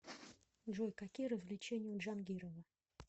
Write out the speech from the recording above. джой какие развлечения у джангирова